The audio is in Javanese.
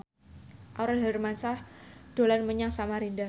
Aurel Hermansyah dolan menyang Samarinda